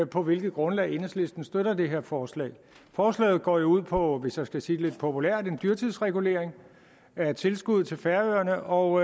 på hvilket grundlag enhedslisten støtter det her forslag forslaget går jo ud på hvis jeg skal sige det lidt populært en dyrtidsregulering af tilskuddet til færøerne og